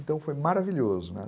Então foi maravilhoso, né.